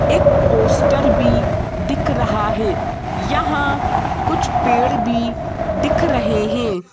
एक पोस्टर भी दिख रहा है यहां कुछ पेड़ भी दिख रहे हैं।